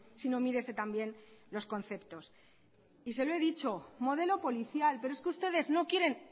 sino mírese también los conceptos y se lo he dicho modelo policial pero es que ustedes no quieren